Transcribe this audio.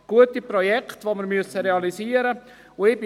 Es sind gute Projekte, die wir realisieren müssen.